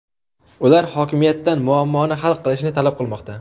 ular hokimiyatdan muammoni hal qilishni talab qilmoqda.